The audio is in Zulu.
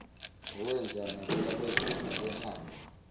wawenza nakwelakwazulu babehamba